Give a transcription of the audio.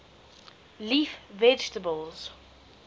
leaf vegetables